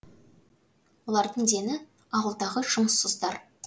олардың дені ауылдағы жұмыссыздар